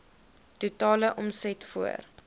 totale omset voor